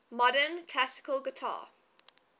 modern classical guitar